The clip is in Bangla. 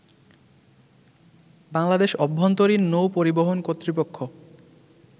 বাংলাদেশ অভ্যন্তরীণ নৌ পরিবহন কর্তৃপক্ষ